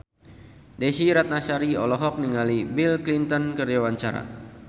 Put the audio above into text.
Desy Ratnasari olohok ningali Bill Clinton keur diwawancara